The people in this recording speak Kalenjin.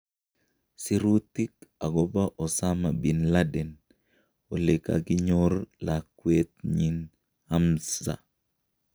Sirutik akobo Osama Binladen olekakinyor lakwet nyi Hamza.